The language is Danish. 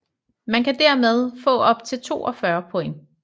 Man kan dermed få op til 42 point